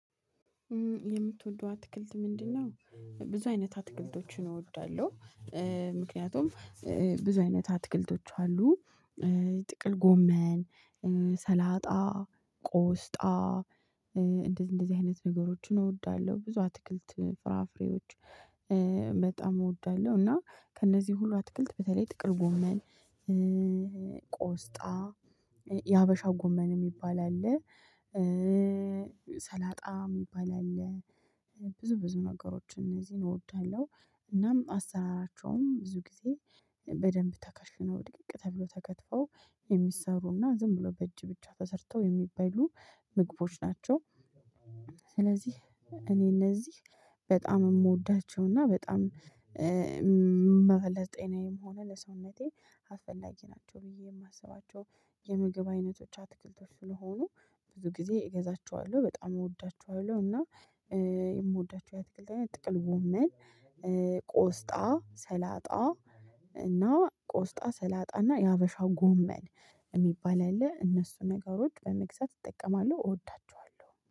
የምትወደው አትክልት ምንድነው? ብዙ አይነት አትክልቶችን እወዳለሁ። ምክንያቱም ብዙ አይነት አትክልቶች አሉ። ጥቅል ጎመን ሰላጣ ቆስጣ። እንደዚህ እንደዚህ አይነት ነገሮችን እወዳለሁ ብዙ አትክልት ፍራፍሬዎች። በጣም እወዳለሁ እና ከእነዚህ ሁሉ አትክልት በተለይ ጥቅል ጎመን። ቆስጣ የሀበሻ ጎመን የሚባል አለ። ሰላጣ የሚባል አለ። ብዙ ብዙ ነገሮች እነዚህን እወድሃለሁ እናም አሰራራቸውም ብዙ ጊዜ በደንብ ተከሽነው ድቅቅ ተብሎ ተከትፈው የሚሰሩና ዝም ብሎ በእጅ ብቻ ተሰርተው የሚበሉ ምግቦች ናቸው። ስለዚህ እኔ እነዚህ በጣም የምወዳቸው እና በጣም መፈ ለጤናዬም ሆነ ለሰውነቴ አስፈላጊ ናቸው ብዬ የማስባቸው የምግብ አይነቶች አትክልቶች ስለሆኑ ብዙ ጊዜ እገዛቸዋለሁ በጣም እወዳቸዋለሁ። እና የምወዳቸው የአትክልት አይነት ጥቅል ጎመን ቆስጣ ሰላጣ እና ቆስጣ ሰላጣና የሀበሻ ጎመን የሚባል አለ እነሱ ነገሮች በመግዛት እጠቀማለሁ እወዳቸዋለሁ